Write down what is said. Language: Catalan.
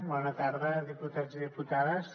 bona tarda diputats i diputades